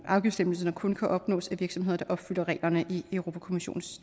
afgiftslempelserne kun kan opnås af virksomheder der opfylder reglerne i europa kommissionens